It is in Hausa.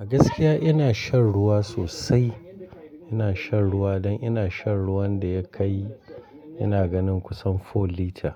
A gaskiya ina shan ruwa sosai. Ina shan ruwa don ina shan ruwan da ya kai ina ganin kusan four litre.